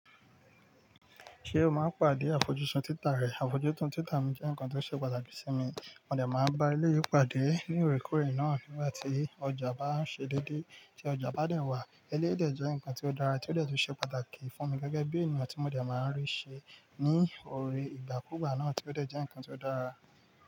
Ṣé o máa ń pàdé àfojúsùn títa rẹ? Àfojúsùn títa mi jẹ́ nǹkan tó ṣe pàtàkì sí mi. Mo dẹ̀ máa ń bá eléyí pàdé ní òorèkoorè náà nígbà tí ọjà bá ń ṣẹ́ dẹdé. Tí ọjà bá dé wàá, eléyi dé jẹ́ nǹkan tí ó dára tí ó dẹ̀ tun ṣe pàtàkì fún mi gẹ́gẹ́ bí ènìyàn tí mo dẹ̀ máa ń rí ṣe ní orí ìgbàkúugbà náà tí ó dẹ́ jẹ́ nǹkan tí ó dára.